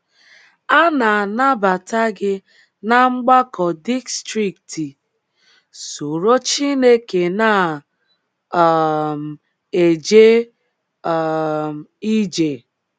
A na- anabata gị ná Mgbakọ Distrikti “ Soro Chineke Na um - eje um Ije ”